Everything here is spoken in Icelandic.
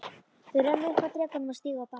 Þau renna upp að drekanum og stíga af baki.